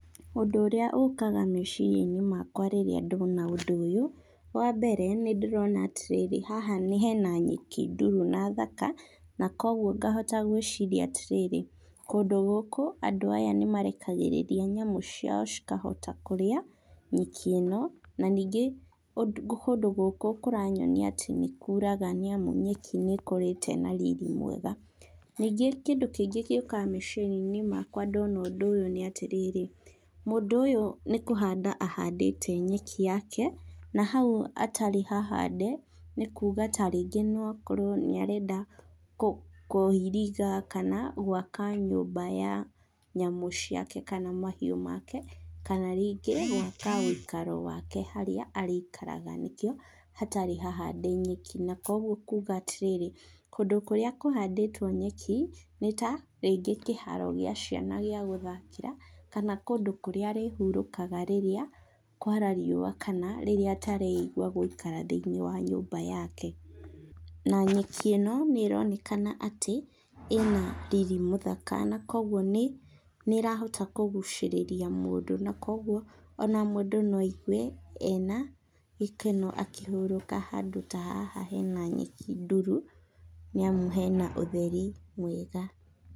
Ũndũ ũrĩa ũkaga meciria inĩ makwa rĩrĩa ndona ũndũ ũyũ. Wambere nĩndĩrona atĩrĩrĩ haha hena nyeki nduru na thaka. Koguo kahota gwĩciria atĩrĩrĩ, kũndũ gũkũ andũ aya nĩmarekagĩrĩria nyamũ ciao cikahota kũrĩa, nyeki ĩno, na ningĩ kũndũ gũkũ kũranyonia atĩ nĩkuraga nyeki nĩkũrĩte na riri mwega. Ningĩ kĩndũ kĩngĩ gĩũkaga meciria inĩ makwa ndona ũndũ ũyũ nĩ atĩrĩrĩ, mũndũ ũyũ nĩ kũhanda ahandĩte nyeki yake na hau hatarĩ hahande nĩkuga ta rĩngĩ nĩarenda kũiriga kana gwaka nyũmba ya nyamũ ciake kana mahiũ make kana rĩngĩ gwaka woikarwo wake harĩa arĩikaraga. Na nĩkĩo hatarĩ hahande nyeki, na koguo kuga atĩrĩrĩ kũndũ kũrĩa kũhandĩtwo nyeki nĩta rĩngĩ kĩharo kĩa ciana gĩa gũthakĩra kana kũndũ kũrĩa arĩhurũkaga rĩrĩa kwara riũa kana rĩrĩa atareigua gũikara thĩiniĩ wa nyũmba yake. Na nyeki ĩno nĩronekana atĩ ĩna riri mũthaka koguo nĩrahota kũgucĩrĩria mũndũ na koguo ona mũndũ na aigue ena gĩkeno akĩhurũka handũ ta haha hena nyeki nduru, nĩamu hena ũtheri mwega.